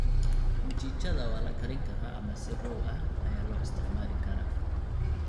Mchichada waa la karin karaa ama si raw ah ayaa loo isticmaali karaa.